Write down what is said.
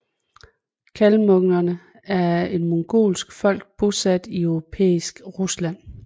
Kalmukkerne er et mongolsk folk bosat i europæisk Rusland